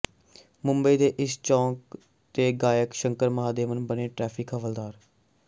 ਮੁੰਬਈ ਦੇ ਇਸ ਚੌਂਕ ਤੇ ਗਾਇਕ ਸ਼ੰਕਰ ਮਹਾਦੇਵਨ ਬਣੇ ਟੈ੍ਰਫਿਕ ਹਵਲਦਾਰ